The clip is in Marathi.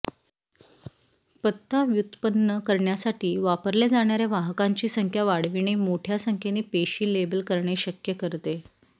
पत्ता व्युत्पन्न करण्यासाठी वापरल्या जाणाऱ्या वाहकांची संख्या वाढविणे मोठ्या संख्येने पेशी लेबल करणे शक्य करते